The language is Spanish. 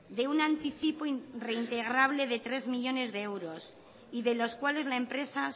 de un anticipo reintegrable de tres millónes de euros y de los cuales la empresa